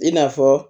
I n'a fɔ